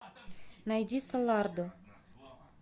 найди солардо